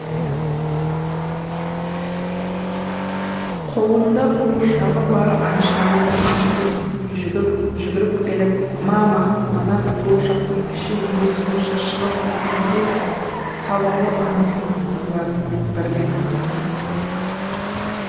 қолында қуыршағы бар айшаның ас бөлмесіне жүгіріп келіп мама мына қуыршақтың іші неге сонша шығып кеткен деп сауалы анасының назарын бірден аударды